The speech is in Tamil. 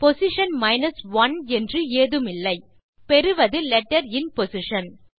பொசிஷன் 1 என்று ஏதுமில்லை பெறுவது லெட்டர் இன் பொசிஷன்